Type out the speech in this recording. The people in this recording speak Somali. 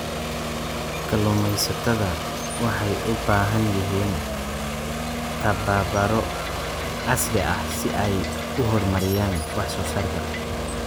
Kalluumeysatada waxay u baahan yihiin tababaro casri ah si ay u horumariyaan wax soo saarka.